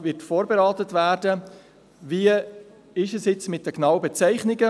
Die genauen Bezeichnungen werden auch wieder von der SAK vorberaten werden.